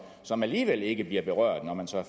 som alligevel ikke bliver berørt når man så